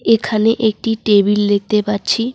এখানে একটি টেবিল দেখতে পাচ্ছি।